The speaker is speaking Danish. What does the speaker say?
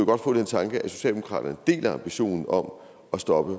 godt få den tanke at socialdemokratiet deler ambitionen om at stoppe